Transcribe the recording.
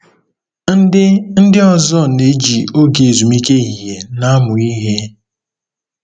Ndị Ndị ọzọ na-eji oge ezumike ehihie na-amụ ihe.